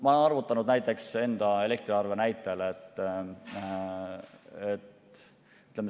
Ma olen arvutanud enda elektriarve näitel.